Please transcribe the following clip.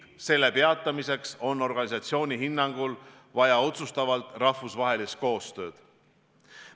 Selle peatamiseks on organisatsiooni hinnangul vaja otsustavat rahvusvahelist koostööd.